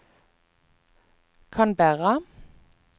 Canberra